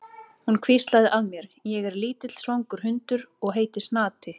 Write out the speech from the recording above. Hún hvíslaði að mér: Ég er lítill svangur hundur og heiti Snati.